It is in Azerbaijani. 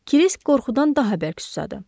Krisk qorxudan daha bərk susadı.